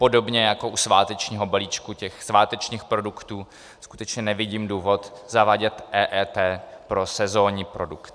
Podobně jako u svátečního balíčku těch svátečních produktů skutečně nevidím důvod zavádět EET pro sezónní produkt.